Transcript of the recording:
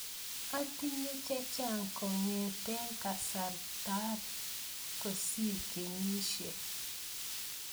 Atinye chechang' kong'ete kasaratak kosir kenyisiek.